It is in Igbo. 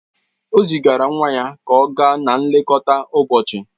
O zigara nwa ya ka ọ gaa na-elekọta ụbọchị